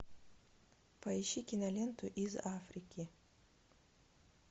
поищи киноленту из африки